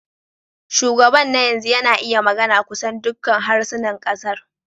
Shugaban na yanzu yana iya magana kusan dukkan harsunan kasar.